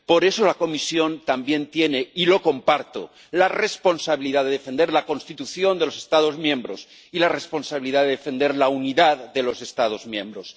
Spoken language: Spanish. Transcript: Por eso, la Comisión también tiene —y lo comparto— la responsabilidad de defender la Constitución de los Estados miembros y la responsabilidad de defender la unidad de los Estados miembros.